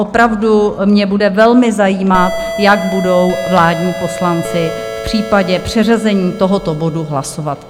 Opravdu mě bude velmi zajímat, jak budou vládní poslanci v případě předřazení tohoto bodu hlasovat.